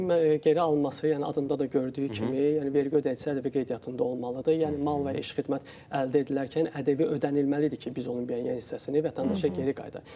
ƏDV-nin geri alınması, yəni adında da gördüyü kimi, yəni vergi ödəyicisi ƏDV qeydiyyatında olmalıdır, yəni mal və əşya xidmət əldə edilərkən ƏDV ödənilməlidir ki, biz onun müəyyən hissəsini vətəndaşa geri qaytarıq.